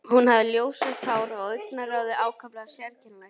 Hún hafði ljósrautt hár og augnaráðið ákaflega sérkennilegt.